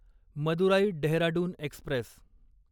Madurai Dehradun Express